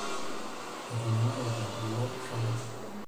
Etung'uarote kulo shoreta.